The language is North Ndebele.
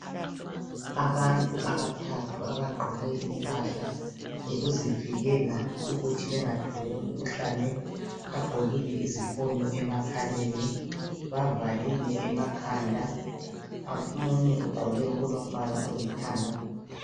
Abantu abathathu abagqoke impahla zokuzivikela ukuthi bengatholi umkhuhlane. Bagqokile izifonyo emakhaleni bavalile emakhanda. Omunye ugqoke okulombala olithanga.